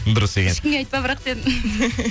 дұрыс екен ешкімге айтпа бірақ дедім